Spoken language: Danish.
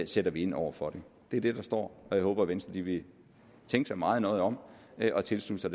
sætter ind over for det det er det der står og jeg håber at venstre vil tænke sig meget nøje om og tilslutte sig